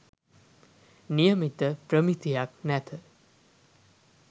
නියමිත ප්‍රමිතියක් නැත.